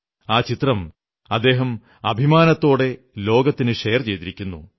ആ ചിത്രം അദ്ദേഹം അഭിമാനത്തോടെ ലോകത്തിനു ഷെയർ ചെയ്തിരിക്കുന്നു